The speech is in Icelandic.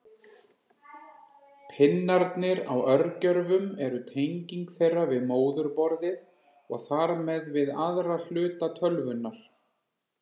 Pinnarnir á örgjörvum eru tenging þeirra við móðurborðið og þar með við aðra hluta tölvunnar.